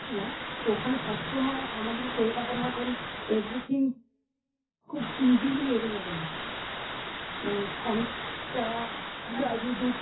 তো ওখানে সব সময় আমাদেরই কলকাতার মতন everything খুব easily available নয় মানে অনেক দূর থেকে journey করে